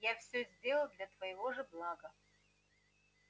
я всё сделал для твоего же блага